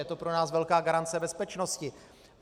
Je to pro nás velká garance bezpečnosti.